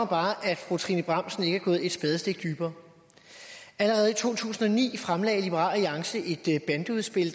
bare at fru trine bramsen ikke er gået et spadestik dybere allerede i to tusind og ni fremsatte liberal alliance et bandeudspil